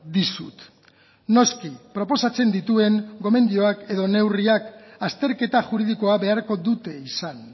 dizut noski proposatzen dituen gomendioak edo neurriak azterketa juridikoa beharko dute izan